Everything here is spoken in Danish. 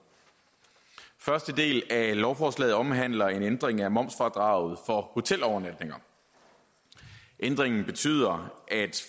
første del af lovforslaget omhandler en ændring af momsfradraget for hotelovernatninger ændringen betyder at